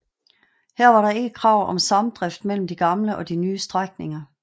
Her var der ikke krav om samdrift mellem de gamle og de nye strækninger